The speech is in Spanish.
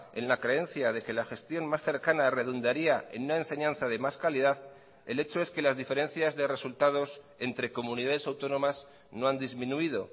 en la creencia de que la gestión más cercana redundaría en una enseñanza de más calidad el hecho es que las diferencias de resultados entre comunidades autónomas no han disminuido